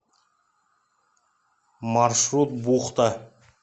маршрут бухта